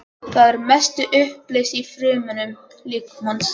Það er að mestu uppleyst í frumum líkamans.